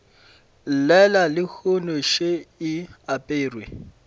llela lehono še e aperwe